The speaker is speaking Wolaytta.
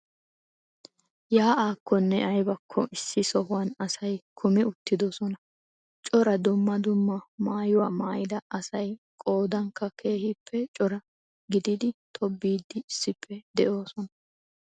Yaa'akkonne aybakko issi sohuwan asay kumi uttiidosona. Cora dumma dumma maayuwa maayida aaay qoodankka keehippe cora gididi tobbiiddi issippe de'oosona.